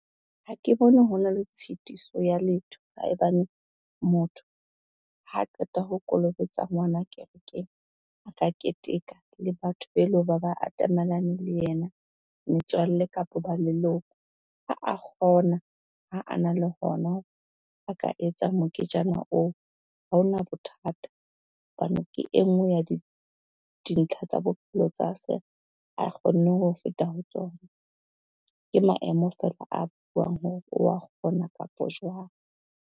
Ha ke bone ho na le tshitiso ya letho haebane motho ha qeta ho kolobetsa ngwana kerekeng, a ka keteka le batho be leng ho ba ba atamelane le yena, metswalle kapa ba leloko. Ha a kgona ha a na le hona a ka etsa moketjana oo, ha ona bothata hobane ke e ngwe ya dintlha tsa bophelo tsa se a kgonne ho feta ho tsona. Ke maemo fela a buang hore wa kgona kapo jwang.